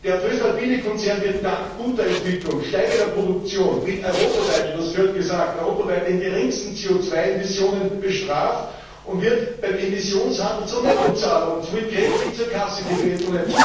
Der voestalpine Konzern wird dank guter Entwicklung, steigender Produktion, mit europaweit und das gehört gesagt den geringsten CO 2 Emissionen, bestraft und wird beim Emissionshandel zum Nettozahler und somit kräftig zur Kasse gebeten.